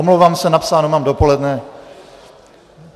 Omlouvám se, napsáno mám dopoledne.